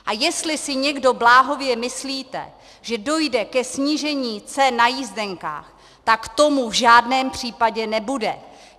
A jestli si někdo bláhově myslíte, že dojde ke snížení cen na jízdenkách, tak tomu v žádném případě nebude.